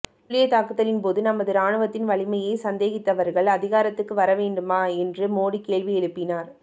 துல்லியத் தாக்குதலின் போது நமது ராணுவத்தின் வலிமையை சந்தேகித்தவர்கள் அதிகாரத்துக்கு வர வேண்டுமா என்றும் மோடி கேள்வி எழுப்பினார்